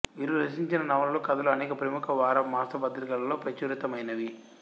వీరు రచించిన నవలలు కథలు అనేక ప్రముఖ వార మాస పత్రికలలో ప్రచురితమైనవి